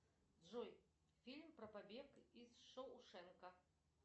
джой фильм про побег из шоушенка